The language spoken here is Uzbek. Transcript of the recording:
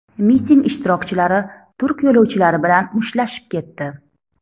Miting ishtirokchilari turk yo‘lovchilari bilan mushtlashib ketdi.